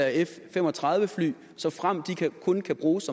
f fem og tredive fly såfremt de kun kan bruges